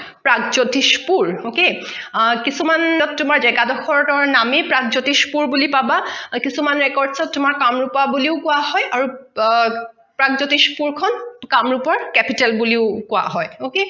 Pragjyotishpur okay আহ কিছুমান তোমাৰ জেগা দখৰ নামেই প্ৰাগজ্যোতিষ পুৰ বুলি পাবা কিছুমান record অত কামৰোপা বুলিও কোৱা হয় আৰু আহ প্ৰাকজ্যোতিষপুৰ খন কামৰোপৰ capital বুলিও কোৱা হয় okay